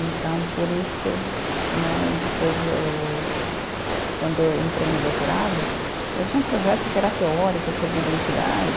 Então, por isso né, depois eu eu, quando eu entrei no doutorado, eu tinha um projeto que era teórico sobre identidade.